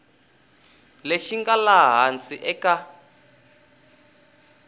lexi nga laha hansi eka